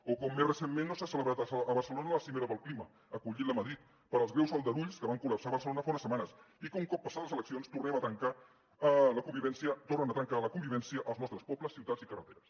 o com més recentment no s’ha celebrat a barcelona la cimera pel clima que l’ha acollit madrid pels greus aldarulls que van col·lapsar barcelona fa unes setmanes i que un cop passades les eleccions tornen a trencar la convivència als nostres pobles ciutats i carreteres